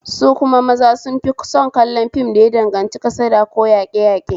Su kuma maza sun fi son kallon fim da ya danganci kasada ko yaƙeyaƙe